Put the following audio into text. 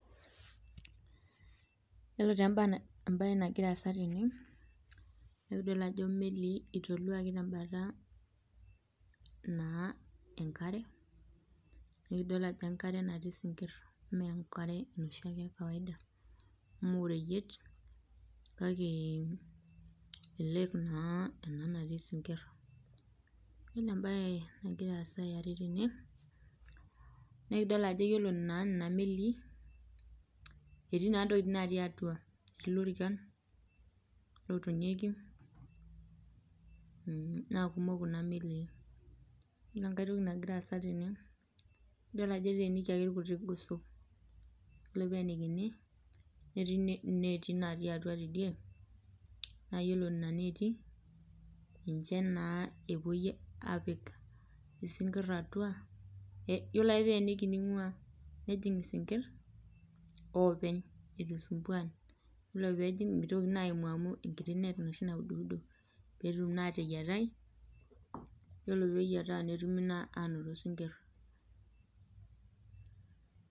Yiolo taa embae nagira aasa tene naa idol ajo imelii eitoluaki tembata enkare naa idol ajo enkare natii isikir mee enoshi ake ekawaida. mee oreyiet kake elake naa ena natii isinkir .yiolo embae nagira aasa eare tena naa ekidol ajo yiolo naa nena melii etii tokiting natii atua ,etii lorikan atua lotoniekei naa kumok Kuna melii ,yiolo enkae toki nagira aasa tena idol ajo eteenikiaki irgoso, yiolo pee eeenikini netii ineeti natii atua teidie na iyiolo nena neeti niche epuoi apik isinkir atua yiolo ake pee eiyeniki nejing isinkir openy eitu isumbuan. yiolo na pee ejing mitoki naa apuku amu enkiti neet enoshi naududo pee etum naa ateyiatai yiolo pee eyieta netumoki naa anoto isinkir.